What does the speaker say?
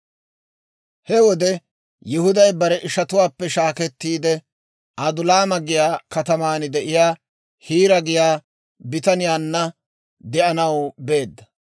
He wode Yihuday bare ishatuwaappe shaakettiide, Adulaama giyaa kataman de'iyaa Hiira giyaa bitaniyaanna de'anaw beedda.